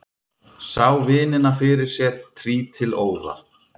Sá vinina fyrir sér trítilóða.